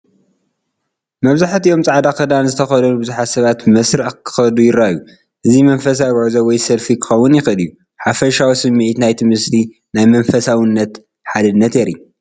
መብዛሕትኦም ጻዕዳ ክዳን ዝተኸድኑ ብዙሓት ሰባት ብመስርዕ ክኸዱ ይረኣዩ። እዚ መንፈሳዊ ጉዕዞ ወይ ሰልፊ ክኸውን ይኽእል እዩ። ሓፈሻዊ ስምዒት ናይቲ ምስሊ ናይ መንፈሳውነትን ሓድነትን የርኢ።